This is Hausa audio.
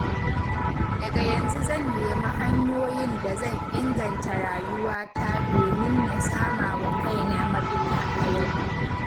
Daga yanzu zan nemi hanyoyin da zan inganta rayuwata domin na sama wa kaina mafita a yau.